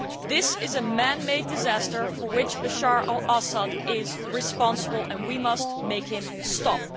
This is a man made disaster for which Bashar al Assad is responsible and we must make him stop.